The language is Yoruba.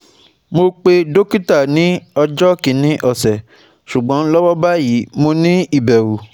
Mo pe dokita ni ojo kini ose, sugbon lowo bayi, mo ni iberu